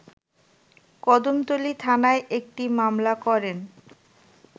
কদমতলী থানায় একটি মামলা করেন